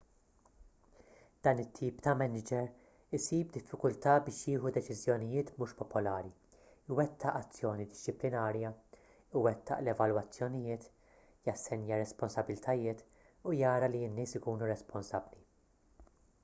dan it-tip ta' maniġer isib diffikultà biex jieħu deċiżjonijiet mhux popolari iwettaq azzjoni dixxiplinarja iwettaq l-evalwazzjonijiet jassenja r-responsabbiltajiet u jara li n-nies ikunu responsabbli